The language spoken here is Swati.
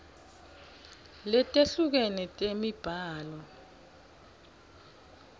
letehlukene temibhalo sib